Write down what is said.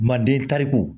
Manden kariko